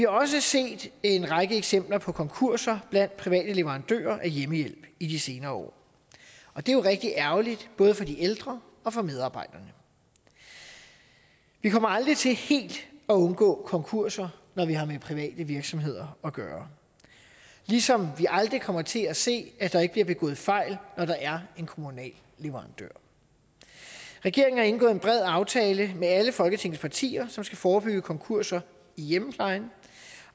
også set en række eksempler på konkurser blandt private leverandører af hjemmehjælp i de senere år og det er jo rigtig ærgerligt både for de ældre og for medarbejderne vi kommer aldrig til helt at undgå konkurser når vi har med private virksomheder at gøre ligesom vi aldrig kommer til at se at der ikke bliver begået fejl når der er en kommunal leverandør regeringen har indgået en bred aftale med alle folketingets partier som skal forebygge konkurser i hjemmeplejen